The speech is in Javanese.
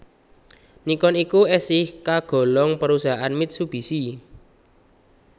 Nikon iku esih kagolong perusahaan Mitsubishi